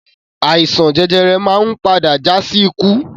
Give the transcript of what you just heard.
Àìsàn jẹjẹrẹ máa ń padà já sí ikú